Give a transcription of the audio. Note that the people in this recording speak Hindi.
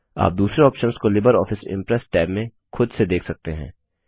आप दूसरे ऑप्शंस को लिबरऑफिस इम्प्रेस टैब में खुद से देख सकते हैं